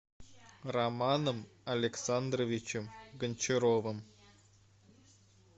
романом александровичем гончаровым